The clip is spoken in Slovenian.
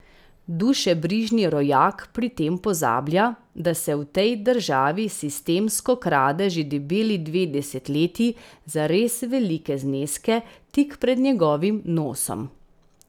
Dušebrižni rojak pri tem pozablja, da se v tej državi sistemsko krade že debeli dve desetletji za res velike zneske tik pred njegovim nosom.